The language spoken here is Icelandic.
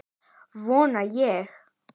Vona ég.